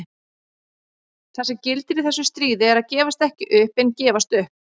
Það sem gildir í þessu stríði er að gefast ekki upp en gefast upp.